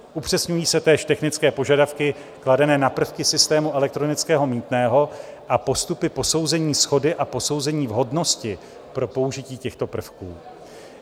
Upřesňují se též technické požadavky kladené na prvky systému elektronického mýtného a postupy posouzení shody a posouzení vhodnosti pro použití těchto prvků.